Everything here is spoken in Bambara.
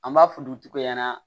An b'a fɔ dutigiw ɲɛna